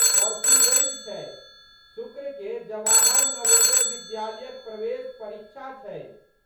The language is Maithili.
परसू रवि छै। शुक्रके जवाहर नवोदय विद्यालयक प्रवेश परीक्षा छै।